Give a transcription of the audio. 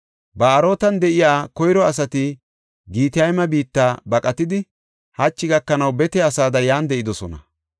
Ba7aarotan de7ida koyro asati Gitayma biitta baqatidi, hachi gakanaw bete asada yan de7idosona.